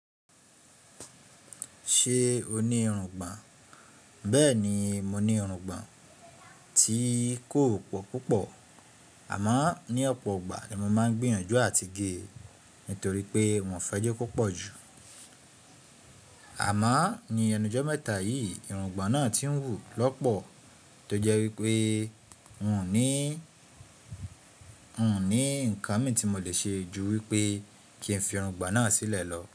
Ṣé o ní irungbọ̀n? Bẹ́ẹ̀ni mo ní irungbọ̀n tí kò pọ̀ púpọ̀ àmọ́ ní ọ̀pọ̀ ọgbà ni mo máa ń gbìyànjú à ti gé nítorí pé wọ́n fẹ́ jẹ́ kó pọ̀ pọ̀ jù. Àmá ní ẹnujọ́ mẹ́ta yìí irungbọ̀n náà tí ń wù lọ́pọ̀ tó jẹ́ wípé n ò ní, n ò ní ǹkan mi tí mo lè ṣe ju wípé kí n fi irungbọ̀n náà sílẹ̀ lọ.